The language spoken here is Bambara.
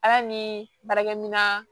Ala ni baarakɛminɛn